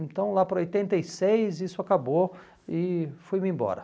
Então lá para oitenta e seis isso acabou e fui-me embora.